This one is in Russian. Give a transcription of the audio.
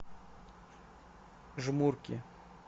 жмурки